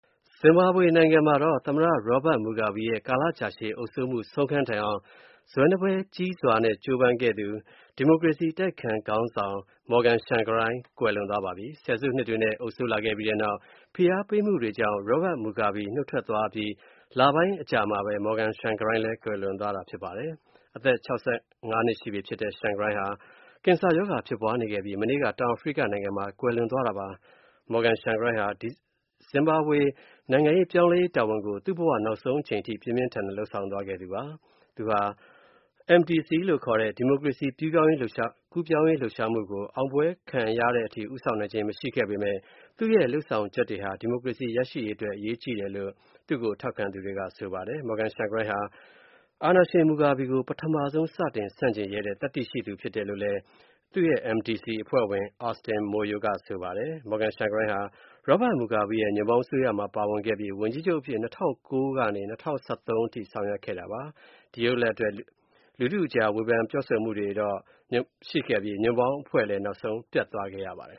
ဇင်ဘာဘွေနိုင်ငံမှာ သမ္မတ Robert Mugabe ရဲ့ ကာလရှည်ကြာတဲ့ အုပ်စိုးမှု ဆုံးခန်းတိုင်အောင် ဇွဲနပဲ ကြီးစွာကြိုးပမ်းခဲ့သူ အတိုက်အခံခေါင်းဆောင် Morgan Tsvangirai ကွယ်လွန်သွားပါပြီ။ ဆယ်စုနှစ်တွေနဲ့ အုပ်စိုးလာခဲ့ပြီးတဲ့နောက် ဖိအားပေးမှုတွေကြောင့် Robert Mugabe နုတ်ထွက်သွားပြီး လပိုင်းအကြာမှာပဲ Morgan Tsvangirai ကွယ်လွန်သွားတာဖြစ်ပါတယ်။ အသက် ၆၅ နှစ်ရှိနေပြီဖြစ်တဲ့ Tsvangirai ဟာ ကင်ဆင်ရောဂါဖြစ်ပွားနေခဲ့ပြီး ဗုဒ္ဓဟူးနေ့က တောင်အာဖရိကနိုင်ငံမှာ ကွယ်လွန်သွားတာပါ။ Morgan Tsvangirai ဟာ ဇင်ဘာဘွေနိုင်ငံရေး ပြောင်းလဲရေးတာဝန်ကို သူ့ဘဝနောက်ဆုံး အချိန်ထိ ပြင်းပြင်းထန်ထန်လုပ်ဆောင်သွားခဲ့သူဖြစ်ပါတယ်။ သူဟာ သူ့ရဲ့ MDC ခေါ် “ဒီမိုကရေစီကူးပြောင်းရေးလှုပ်ရှားမှု” ကို အောင်ပွဲရတဲ့အထိ ဦးဆောင်နိုင်ခြင်းမရှိခဲ့ပေမယ့် သူ့ရဲ့လုပ်ဆောင်ချက်တွေဟာ သိပ်ကို အရေးကြီးတယ်လို့ သူ့ကို ထောက်ခံသူတွေက ဆိုကြပါတယ်။ Morgan Tsvangirai ဟာ Mugabe ကို ပထမဦးဆုံးစတင် ဆန့်ကျင်ရဲတဲ့ သတ္တိရှိသူဖြစ်တယ်လို့ MDC အဖွဲ့ဝင် Austin Moyo က ဆိုပါတယ်။ Morgan Tsvangirai ဟာ Robert Mugabe ရဲ့ ညွန့်ပေါင်းအစိုးရမှာ ပါဝင်ပြီး ဝန်ကြီးချုပ်အဖြစ် ၂၀၀၉ ကနေ ၂၀၁၃ အထိ ဆောင်ရွက်ခဲ့ပါတယ်။ ဒီလုပ်ရပ်အတွက် လူထုကြား ဝေဖန်ပြောဆိုမှုရှိခဲ့ပြီး ညွန့်ပေါင်းအဖွဲ့လည်း ပျက်ပြားသွားခဲ့ပါတယ်